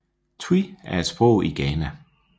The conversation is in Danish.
Twi er et sprog i Ghana